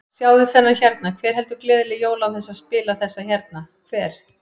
Sjáðu þennan hérna, hver heldur gleðileg jól án þess að spila þessa hérna, hver?